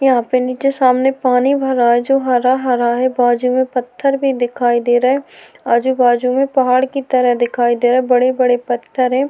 यहाँ पर नीचे सामने पानी भरा है जो हरा-हरा है बाजु में पत्थर भी दिखाई दे रहे हैं। आजु बाजु में पहाड़ की तरह दिखाई दे रहे बड़े-बड़े पत्थर हैं।